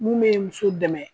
Mun be muso dɛmɛ